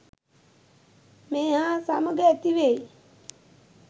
මේ හා සමග ඇති වෙයි.